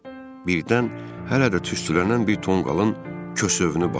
Birdən hələ də tüstülənən bir tonqalın kösövünü bastaladım.